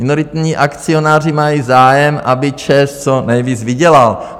Minoritní akcionáři mají zájem, aby ČEZ co nejvíc vydělal.